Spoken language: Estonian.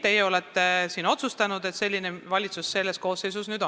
Teie olete siin otsustanud, et selline valitsus selles koosseisus töötab.